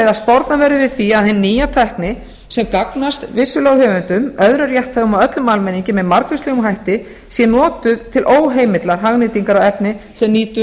að sporna verður við því að hin nýja tækni sem gagnast vissulega höfundum öðrum rétthöfum og öllum almenningi með margvíslegum hætti sé notuð til óheimillar hagnýtingar á efni sem nýtur